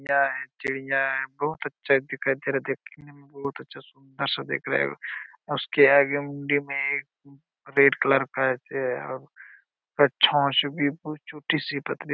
यहाँ है चिड़िया हैं बहुत अच्छा दिखाई दे रहा हैं देखने में बहुत अच्छा सुंन्दर सा दिख रहा हैं उसके आगे मुंडी में एक रेड कलर का छोटी सी पतली सी--